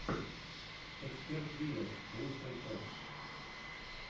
эксперт вилладж лучшая часть